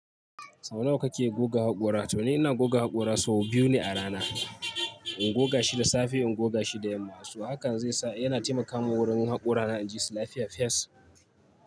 Sau nawa kake goga haƙora? To ni ina goga haƙora sau biyu ne a rana. In goga shi da safe, in goga shi da yamma. So hakan zai sa yana taimakamun wurin haƙora na inji su lafiya fens.